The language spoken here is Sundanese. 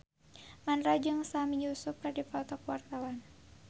Mandra jeung Sami Yusuf keur dipoto ku wartawan